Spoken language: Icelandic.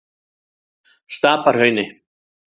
Stapahrauni